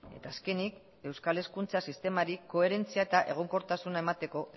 eta azkenik euskal hezkuntza sistemari koherentzia eta egonkortasuna emateko